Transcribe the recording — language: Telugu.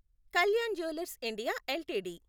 Kalyan jewellers India LTD